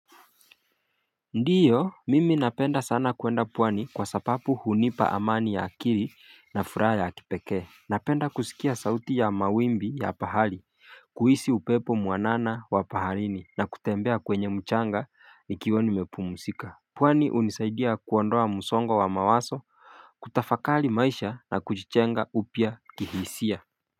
Ndiyo mimi napenda sana kwenda pwani kwa sababu hunipa amani ya akili na furaha ya kipekee napenda kusikia sauti ya mawimbi ya bahari kuhisi upepo muanana wa baharini na kutembea kwenye mchanga nikiwa nimepumzika pwani hunisaidia kuondoa msongo wa mawazo kutafakari maisha na kujijenga upya kihisia.